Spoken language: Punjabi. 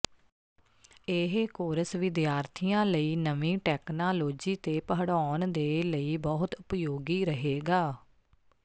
ਇਹ ਕੋਰਸ ਵਿਦਿਆਰਥੀਆਂ ਲਈ ਨਵੀਂ ਟੈਕਨਾਲੋਜੀ ਤੇ ਪੜ੍ਹਾਉਣ ਦੇ ਲਈ ਬਹੁਤ ਉਪਯੋਗੀ ਰਹੇਗਾ